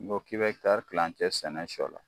N'i ko k'i bɛ ɛkitari kilancɛ sɛnɛ sɔ la